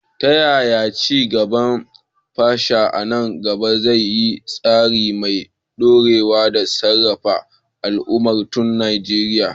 Ta yaya ci gaban fasaha a nan gaba zai yi tasiri mai dorewa da sarrafa albarkatun Najeriya?